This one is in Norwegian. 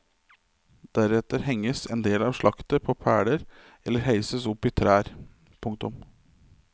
Deretter henges en del av slaktet på peler eller heises opp i trær. punktum